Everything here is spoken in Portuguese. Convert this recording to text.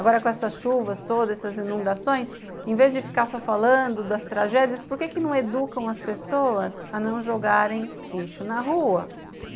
Agora, com essas chuvas todas, essas inundações, em vez de ficar só falando das tragédias, por que que não educam as pessoas a não jogarem lixo na rua?